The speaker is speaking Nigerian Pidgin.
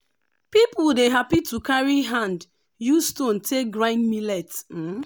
um small um pikin dey give fowl food and pick egg when dem come.